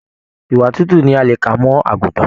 Ìwà tútù ní a lè kà mọ àgùntàn.